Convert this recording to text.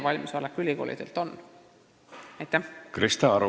Krista Aru, palun!